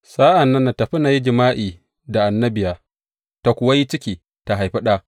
Sa’an nan na tafi na yi jima’i da annabiya, ta kuwa yi ciki ta haifi ɗa.